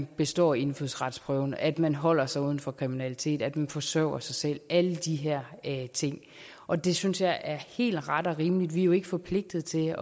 bestået indfødsretsprøven at man holder sig uden for kriminalitet og at man forsørger sig selv alle de her ting og det synes jeg er helt ret og rimeligt vi er jo ikke forpligtet til